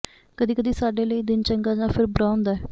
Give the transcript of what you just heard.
ਕਦੀ ਕਦੀ ਸਾਡੇ ਲਈ ਦਿਨ ਚੰਗਾ ਜਾਂ ਫਿਰ ਬੁਰਾ ਹੁੰਦਾ ਹੈ